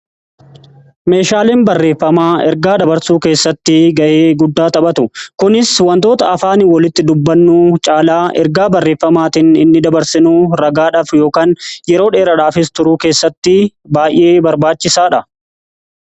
meeshaaleen barreeffamaa ergaa dabarsuu keessatti gahee guddaa taphatu. kunis wantoota afaan walitti dubbannuu caalaa ergaa barreeffamaatiin inni dabarsinuu ragaadhaaf yookaan yeroo dheeradhaafis turuu keessatti baay'ee barbaachisaadha.